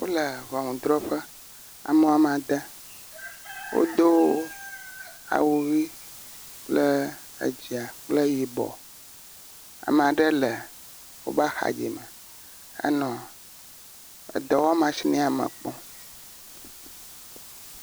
Wole ŋunudrɔƒe ame woame ade. Wodo awu ʋi dzɛ̃a kple yibɔ, ame aɖe le woƒe axa dzi enɔ dɔwɔmashini me kpɔm.